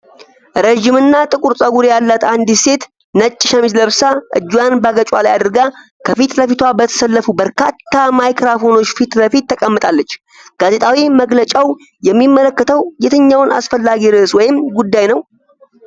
ረዣዥም ጥቁር ፀጉር ያላት አንዲት ሴት ነጭ ሸሚዝ ለብሳ፣ እጇን በአገጯ ላይ አድርጋ፣ ከፊት ለፊቷ በተሰለፉ በርካታ ማይክሮፎኖች ፊት ለፊት ተቀምጣለች። ጋዜጣዊ መግለጫው የሚመለከተው የትኛውን አስፈላጊ ርዕስ ወይም ጉዳይ ነው?